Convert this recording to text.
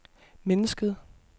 mennesket